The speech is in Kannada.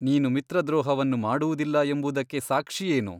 ನೀನು ಮಿತ್ರದ್ರೋಹವನ್ನು ಮಾಡುವುದಿಲ್ಲ ಎಂಬುದಕ್ಕೆ ಸಾಕ್ಷಿಯೇನು?